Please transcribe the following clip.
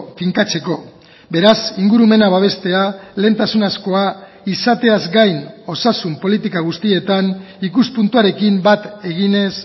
finkatzeko beraz ingurumena babestea lehentasunezkoa izateaz gain osasun politika guztietan ikuspuntuarekin bat eginez